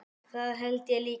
Það held ég líka